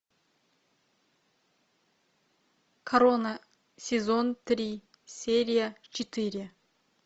корона сезон три серия четыре